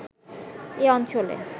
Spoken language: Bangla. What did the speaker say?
এ অঞ্চলে